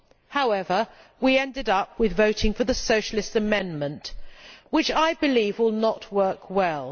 However, we ended up voting for the Socialist amendment which I believe will not work well.